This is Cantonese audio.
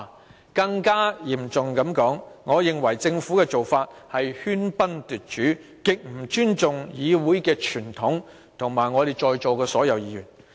說得更嚴重些，我認為政府的做法是喧賓奪主，極不尊重議會的傳統及我們在座全體議員。